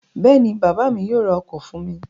Bẹ́ẹ̀ ni, bàbá mi yóò ra ọkọ̀ fún mi.